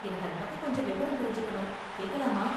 எனக்கு அதை பத்தி கொஞ்சம் விவரம் தெரிஞ்சுக்கணும், கேக்கலாமா?